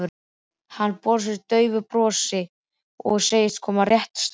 Hann brosir daufu brosi og segist koma rétt strax.